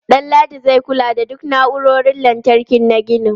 Danladi zai kula da duk na'urorin lantarki na ginin.